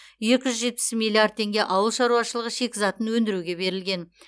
екі жүз жетпіс миллиард теңге ауыл шаруашылығы шикізатын өндіруге берілген